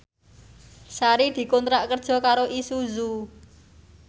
Sari dikontrak kerja karo Isuzu